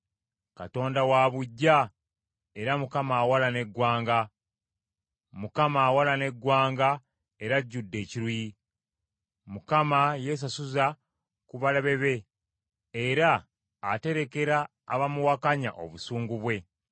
Katonda wa buggya era Mukama awalana eggwanga. Mukama awalana eggwanga era ajudde ekiruyi. Mukama yeesasuza ku balabe be era aterekera abamuwakanya obusungu bwe.